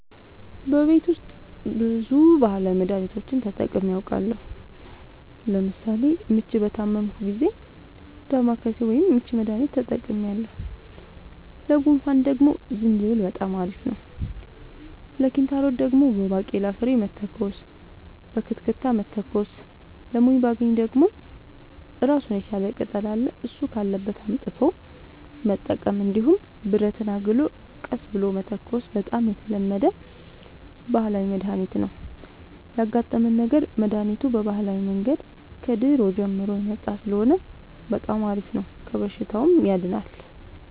በቤት ውስጥ ብዙ ባህላዊ መድሀኒቶችን ተጠቅሜ አውቃለሁ ለምሳሌ ምች በታመምሁ ጊዜ ዳማከሴ ወይም የምች መድሀኒት ተጠቅሜያለሁ ለጉንፋን ደግሞ ዝንጅብል በጣም አሪፍ ነው ለኪንታሮት ደግሞ በባቄላ ፍሬ መተኮስ በክትክታ መተኮስ ለሞይባገኝ ደግሞ እራሱን የቻለ ቅጠል አለ እሱ ካለበት አምጥቶ መጠቀም እንዲሁም ብረትን አግሎ ቀስ ብሎ መተኮስ በጣም የተለመደ ባህላዊ መድሀኒት ነው ያጋጠመን ነገር መድሀኒቱ በባህላዊ መንገድ ከድሮ ጀምሮ የመጣ ስለሆነ በጣም አሪፍ ነው ከበሽታውም ያድናል።